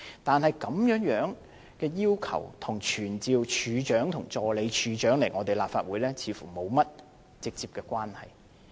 但是，這項要求與傳召懲教署署長和助理署長來立法會，似乎沒有直接關係。